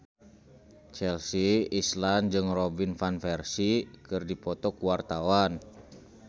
Chelsea Islan jeung Robin Van Persie keur dipoto ku wartawan